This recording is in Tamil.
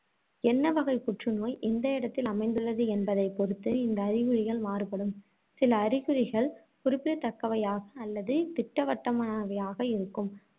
என்ன வகைப் புற்றுநோய், எந்த இடத்தில் அமைந்துள்ளது என்பதைப் பொறுத்து இந்த அறிகுறிகள் மாறுபடும். சில அறிகுறிகள் குறிப்பிடத்தக்கவையாக அல்லது திட்டவட்டமானவையாக இருக்கும்.